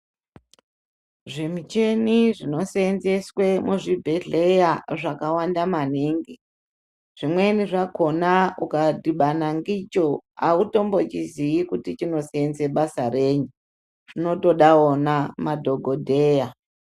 Zvimicheni zvinosenzeswe muzvibhedheya zvakawanda maningi. Zvimweni zvakona ukadhibana ndicho haumbochiziyi kuti chinosenze basa reyi, zvinotoda vona madhogodheya.